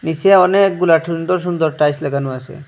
নীচে অনেকগুলা ঠুন্দর সুন্দর টাইলস লাগানো আছে।